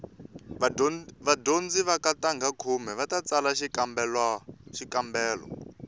vadyondzi va ka ntangha khume va ta tsala xikambelo